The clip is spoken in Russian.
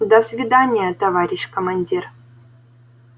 до свидания товарищ командир